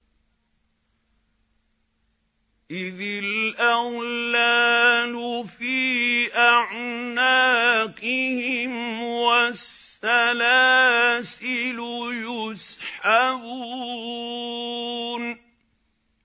إِذِ الْأَغْلَالُ فِي أَعْنَاقِهِمْ وَالسَّلَاسِلُ يُسْحَبُونَ